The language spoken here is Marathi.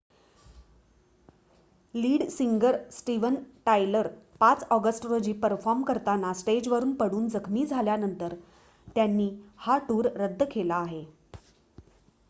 lead singer Steven Tyler 5 August रोजी परफॉर्म करताना स्टेजवरुन पडून जखमी झाल्यानंतर त्यांनी हा टूर रद्द केला आहे